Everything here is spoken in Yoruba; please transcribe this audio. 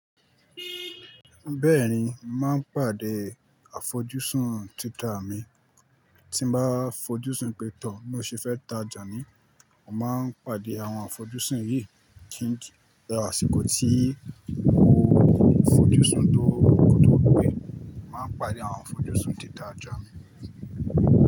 Bẹ́ẹ̀ni, màá pàdé àfojúsùn títà mi, tí n bá fojúsùn pé tò bí mo ṣe fẹ́ ta jàní, mo màá n pàdé àwọn àfojúsùn yìí kí n gba àsìkò tí ó fojúsùn tó kò tó pé, màá n pàdé àwọn àfojúsùn dídà jà mi.